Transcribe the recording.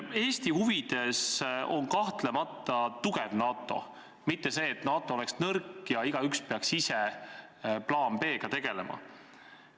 Eesti huvides on kahtlemata tugev NATO, mitte see, et NATO oleks nõrk ja igaüks peaks ise plaaniga B tegelema.